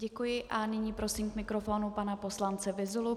Děkuji a nyní prosím k mikrofonu pana poslance Vyzulu.